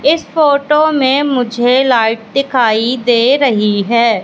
इस फोटो में मुझे लाइट दिखाई दे रही है।